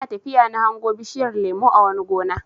Ina tafiya na hango bishiyar lemo a wani gona.